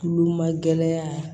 Kulomagɛyaa